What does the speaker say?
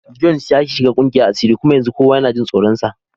Jones ya shiga kungiyar asiri kuma yanzu kowa yana jin tsoronsa.